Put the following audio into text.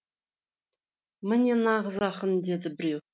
міне нағыз ақын деді біреуі